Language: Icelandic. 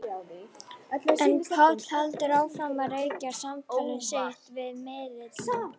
En Páll heldur áfram að rekja samtal sitt við miðilinn.